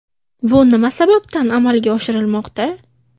Bu nima sababdan amalga oshirilmoqda?